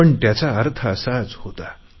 पण त्याचा अर्थ असाच होता